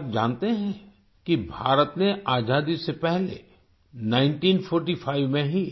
क्या आप जानते हैं कि भारत ने आजादी से पहले 1945 में ही